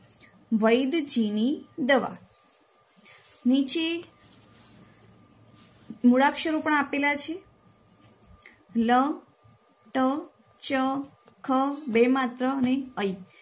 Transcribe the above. વૈધજીવી દવા નીચે મૂળાક્ષરો પણ આપેલા છે